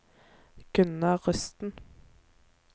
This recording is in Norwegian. Gunnar Rusten